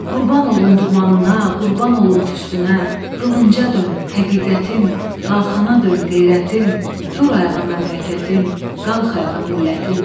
Qurban olum dumanına, qurban olum tüstünə, qılınca dön həqiqətim, qalxana dön qeyrətim, dur ayağa məmləkətim, qalx ayağa millətim.